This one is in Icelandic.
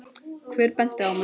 Hver benti á mig?